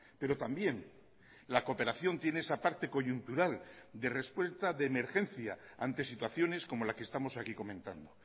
pero también la cooperación tiene esa parte coyuntural de respuesta de emergencia ante situaciones como la que estamos aquí comentando